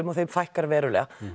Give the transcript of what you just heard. og þeim fækkar verulega